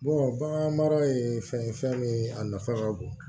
bagan mara ye fɛn ye fɛn min ye a nafa ka bon